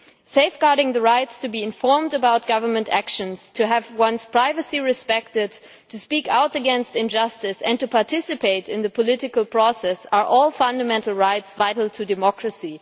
Safeguarding the rights to be informed about government actions, to have one's privacy respected, to speak out against injustice and to participate in the political process are all fundamental rights vital to democracy.